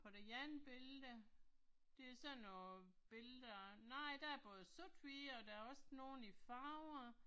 På det andet billede, det er sådan nogle billeder, nej der er både sort/hvid og der er også nogle i farver